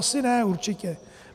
Asi ne, určitě.